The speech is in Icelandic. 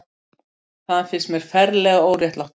Það finnst mér ferlega óréttlátt.